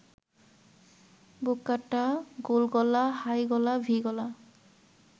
বুককাটা, গোলগলা, হাইগলা, ভি-গলা